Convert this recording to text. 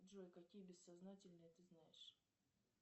джой какие бессознательные ты знаешь